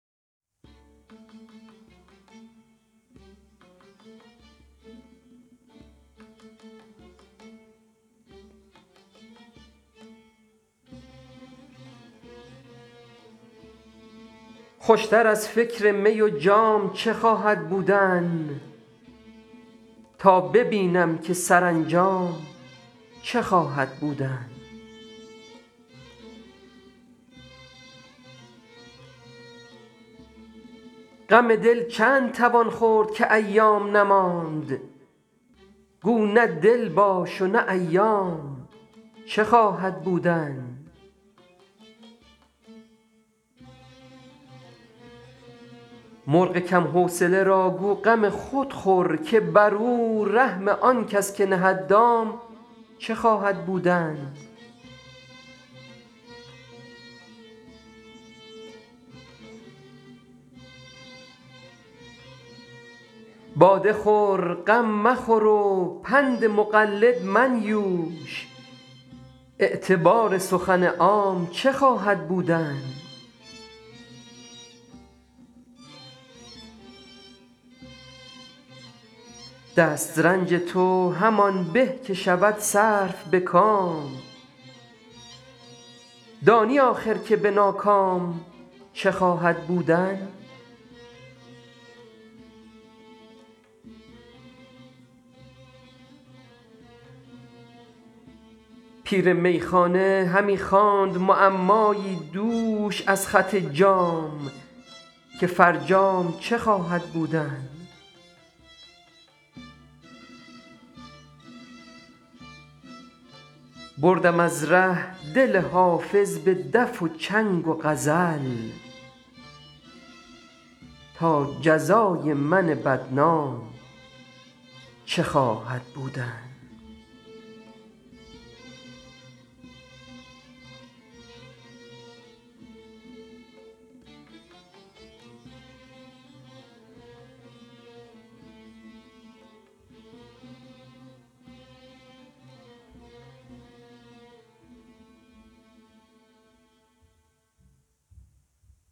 خوش تر از فکر می و جام چه خواهد بودن تا ببینم که سرانجام چه خواهد بودن غم دل چند توان خورد که ایام نماند گو نه دل باش و نه ایام چه خواهد بودن مرغ کم حوصله را گو غم خود خور که بر او رحم آن کس که نهد دام چه خواهد بودن باده خور غم مخور و پند مقلد منیوش اعتبار سخن عام چه خواهد بودن دست رنج تو همان به که شود صرف به کام دانی آخر که به ناکام چه خواهد بودن پیر میخانه همی خواند معمایی دوش از خط جام که فرجام چه خواهد بودن بردم از ره دل حافظ به دف و چنگ و غزل تا جزای من بدنام چه خواهد بودن